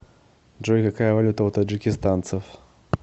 джой какая валюта у таджикистанцев